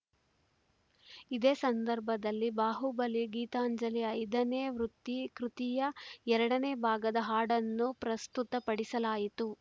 ಇದೇ ಸಂದರ್ಭದಲ್ಲಿ ಬಾಹುಬಲಿ ಗೀತಾಂಜಲಿ ಐದನೇ ವೃತ್ತಿ ಕೃತಿಯ ಎರಡನೇ ಭಾಗದ ಹಾಡನ್ನು ಪ್ರಸ್ತುತಪಡಿಸಲಾಯಿತು